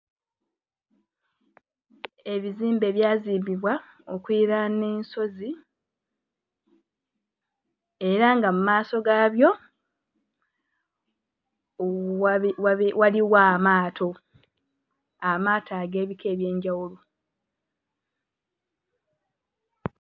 Ebizimbe byazimbibwa okuliraana ensozi era nga mu maaso gaabyo wabi... waliwo amaato, amaato ag'ebika eby'enjawulo.